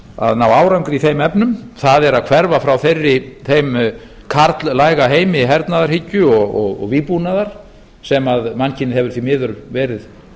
að ná árangri í þeim efnum er að hverfa frá þeim karllæga heimi hernaðarhyggju og vígbúnaðar sem mannkynið hefur því miður verið